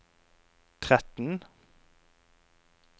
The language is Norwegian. tretten